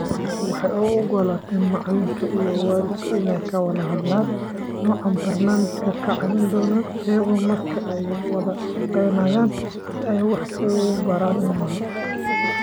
Waxay u ogolaataa macalinka iyo waalidku inay ka wada hadlaan nooca barnaamijka ka caawin doona iyaga marka ay wada-shaqeynayaan si ay wax u baraan ilmaha.